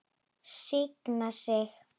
Signa sig?